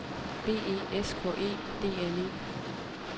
B E S K E D N E